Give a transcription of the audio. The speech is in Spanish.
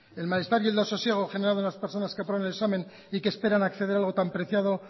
el las personas que aprueben el examen y que esperan a acceder a algo tan preciado